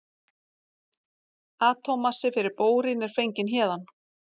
atómmassi fyrir bórín er fenginn héðan